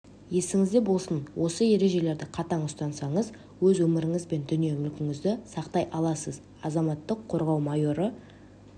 есіңізде болсын осы ережелерді қатаң ұстансаңыз өз өміріңіз бен дүние мүлкіңізді сақтай аласыз азаматтық қорғау майоры